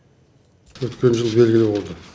өткен жылы белгілі болды